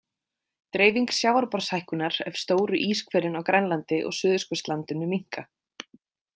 Dreifing sjávarborðshækkunar ef stóru íshvelin á Grænlandi og Suðurskautslandinu minnka.